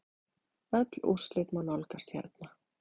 Öll úrslit má nálgast hérna.